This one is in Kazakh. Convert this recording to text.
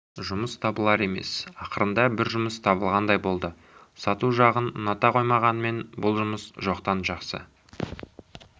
жұмыс табылар емес ақырында бір жұмыс табылғандай болды сату жағын ұната қоймағанымен бұл жұмыс жоқтан жақсы